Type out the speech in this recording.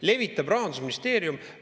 – levitab Rahandusministeerium.